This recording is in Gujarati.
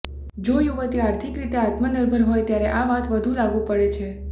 જો યુવતી આર્થિકરીતે આત્મનિર્ભર હોય ત્યારે આ વાત વધુ લાગુ પડે છે